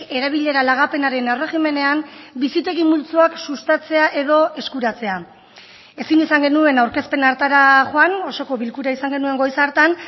erabilera lagapenaren erregimenean bizitegi multzoak sustatzea edo eskuratzea ezin izan genuen aurkezpen hartara joan osoko bilkura izan genuen goiz hartan